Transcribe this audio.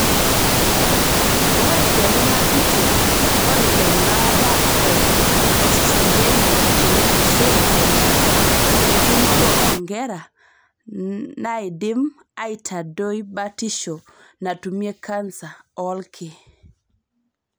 Ore tekuna kituak, ore embaata e estrojeni tenelusoo erishata etumoto oonkera naidim aitadoi batisho natumie kansa oolki.